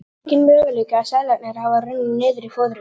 Enginn möguleiki að seðlarnir hafi runnið niður í fóðrið.